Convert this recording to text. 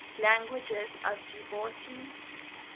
languages of djibouti